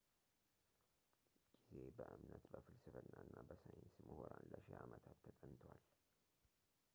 ጊዜ በእምነት በፍልስፍናና በሳይንስ ምሁራን ለሺ አመታት ተጠንቷል